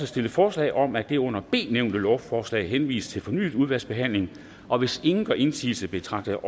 stillet forslag om at det under b nævnte lovforslag henvises til fornyet udvalgsbehandling og hvis ingen gør indsigelse betragter